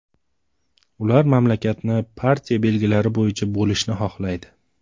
Ular mamlakatni partiya belgilari bo‘yicha bo‘lishni xohlaydi.